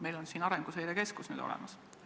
Meil on ka Arenguseire Keskus nüüd olemas.